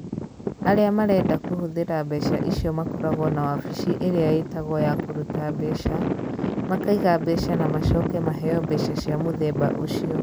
Arĩa marenda kũhũthĩra mbeca icio makoragwo na wabici ĩrĩa ĩĩtagwo ya kũruta mbeca, makaiga mbeca na macoke maheo mbeca cia mũthemba ũcio.